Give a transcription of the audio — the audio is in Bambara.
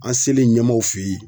An' selen ɲɛmaaw fe ye